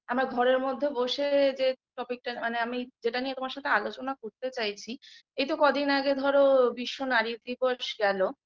আমরা ঘরের মধ্যে বসে যে topic -টা মানে আমি যেটা নিয়ে তোমার সঙ্গে আলোচনা করতে চাইছি এইতো কদিন আগে ধরো বিশ্ব নারী দিবস গেল